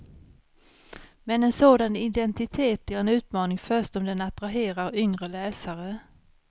Men en sådan identitet blir en utmaning först om den attraherar yngre läsare.